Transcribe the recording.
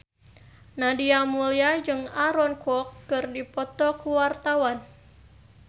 Nadia Mulya jeung Aaron Kwok keur dipoto ku wartawan